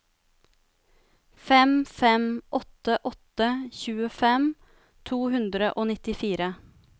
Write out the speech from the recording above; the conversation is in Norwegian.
fem fem åtte åtte tjuefem to hundre og nittifire